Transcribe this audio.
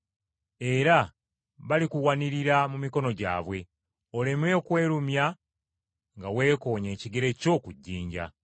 Era balikuwanirira mu mikono gyabwe, oleme okwerumya nga weekonye ekigere kyo ku jjinja.’ ”